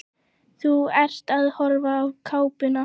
Þú ert að horfa á kápuna.